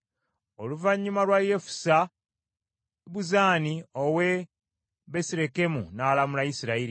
Oluvannyuma lwa Yefusa, Ibuzaani ow’e Besirekemu n’alamula Isirayiri.